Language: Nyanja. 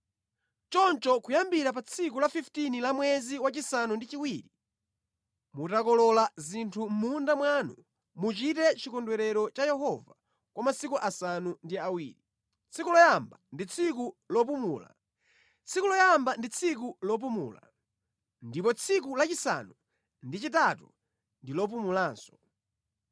“ ‘Choncho kuyambira pa tsiku la 15 la mwezi wachisanu ndi chiwiri, mutakolola zinthu mʼmunda mwanu, muchite chikondwerero cha Yehova kwa masiku asanu ndi awiri. Tsiku loyamba ndi tsiku lopumula, ndipo tsiku lachisanu ndi chitatu ndi lopumulanso.